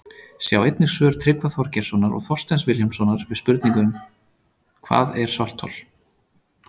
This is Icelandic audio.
Sjá einnig svör Tryggva Þorgeirssonar og Þorsteins Vilhjálmssonar við spurningunum Hvað er svarthol?